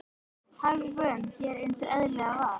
Hagvön hér eins og eðlilegt var.